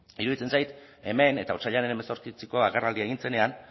iruditzen zait hemen eta otsailaren hemezortziko agerraldia egin zenean